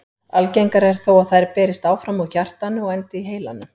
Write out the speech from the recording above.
Algengara er þó að þær berist áfram úr hjartanu og endi í heilanum.